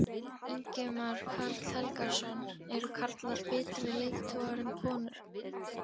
Ingimar Karl Helgason: Eru karlar betri leiðtogar en konur?